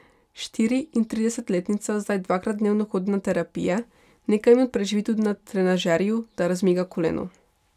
Štiriintridesetletnica zdaj dvakrat dnevno hodi na terapije, nekaj minut preživi tudi na trenažerju, da razmiga koleno.